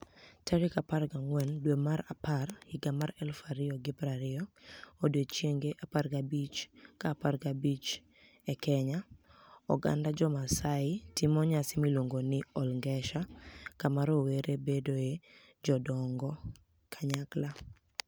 14 Oktoba 2020 Odiechienige 15 ka 15 e Keniya, oganida Jo-MaSaai timo niyasi miluonigo nii Olnigesher, kama rowere bedoe jodonig-kaniyakla.